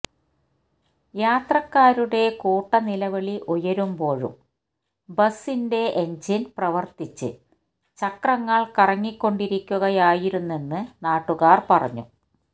യാത്രക്കാരുടെ കൂട്ടനിലവിളി ഉയരുമ്പോഴും ബസിന്റെ എൻജിൻ പ്രവർത്തിച്ച് ചക്രങ്ങൾ കറങ്ങിക്കൊണ്ടിരിക്കുകയായിരുന്നെന്ന് നാട്ടുകാർ പറഞ്ഞു